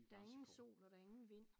Der ingen sol og der ingen vind